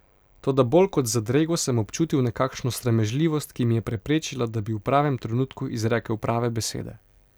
Toda bolj kot zadrego sem občutil nekakšno sramežljivost, ki mi je preprečila, da bi v pravem trenutku izrekel prave besede.